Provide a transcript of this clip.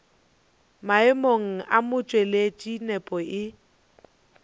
maemong a motšweletši nepo e